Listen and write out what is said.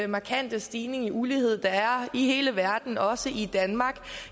markante stigning i ulighed der er i hele verden også i danmark